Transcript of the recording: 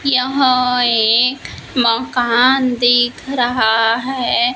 यहां एक मकान दिख रहा है।